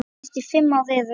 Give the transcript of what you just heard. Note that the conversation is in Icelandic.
Þessi fimm ár eru